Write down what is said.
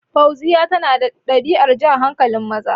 Fauziya tana da ɗabi'ar jan hankalin maza